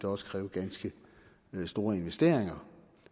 også kræve ganske store investeringer